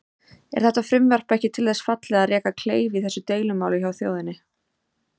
Er þetta frumvarp ekki til þess fallið að reka kleif í þessu deilumáli hjá þjóðinni?